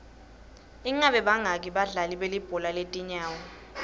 ingabe bangaki badlali belibhola letinyawo